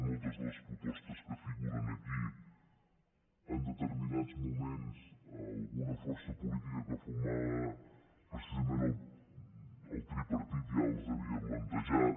moltes de les propostes que figuren aquí en determinats moments alguna força política que formava precisament el tripartit ja les havia plantejat